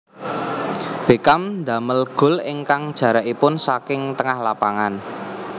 Beckham damel gol ingkang jarakipun saking tengah lapangan